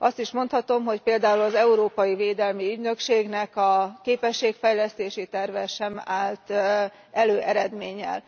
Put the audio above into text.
Azt is mondhatom, hogy például az Európai Védelmi Ügynökségnek a képességfejlesztési terve sem állt elő eredménnyel.